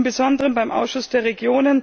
Im Besonderen war es beim Ausschuss der Regionen